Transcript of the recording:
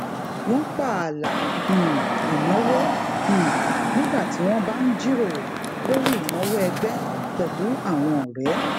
wọn pààlà um ìnáwó um nígbà tí wọn bá ń jíròrò lórí ìnáwó ẹgbẹ pẹlú àwọn ọrẹ